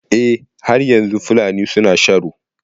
Eh, har yanzu Fulani suna sharo.